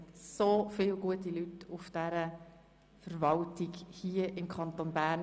Es gibt so viele gute Leute in der Verwaltung des Kantons Bern.